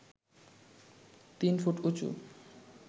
তিন ফুট উঁচু